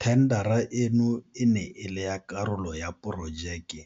Thendara eno e ne e le karolo ya Porojeke